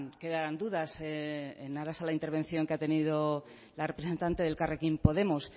quedaran dudas en aras a la intervención que ha tenido la representante de elkarrekin podemos